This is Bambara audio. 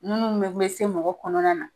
Ninnu be be se mɔgɔ kɔnɔna na